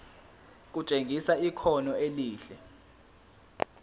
kutshengisa ikhono elihle